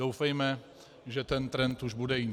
Doufejme, že ten trend už bude jiný.